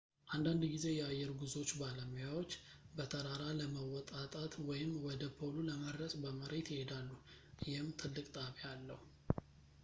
አንዳንድ ጊዜ የአየር ጉዞዎች ባለሙያዎች በተራራ ለመወጣጣት ወይም ወደ ፖሉ ለመድረስ በመሬት ይሄዳሉ ይህም ትልቅ ጣቢያ አለው